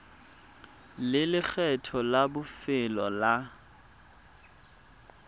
le lekgetho la bofelo la